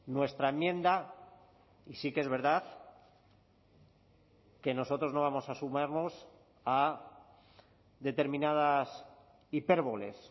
nuestra enmienda y sí que es verdad que nosotros no vamos a sumarnos a determinadas hipérboles